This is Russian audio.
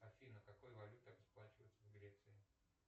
афина какой валютой расплачиваются в греции